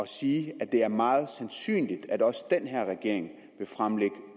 sige at det er meget sandsynligt at også den her regering vil fremlægge